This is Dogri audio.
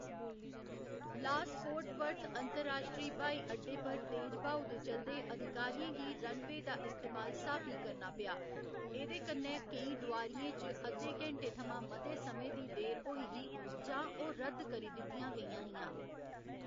लास फोर्ट वर्थ अंतरराश्ट्री ब्हाईअड्डे पर तेज ब्हाऊ दे चलदे अधिकारियें गी रनवे दा इस्तेमाल स्हाबी करना पेआ, एह्‌दे कन्नै केईं डोआरियें च अध्दे घैंटे थमां मते समें दी देर होई ही जां ओह्‌‌ रद्द करी दित्तियां गेइयां हियां।